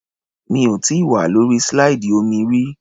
Mi ò tíì wà lórí slide omi rí.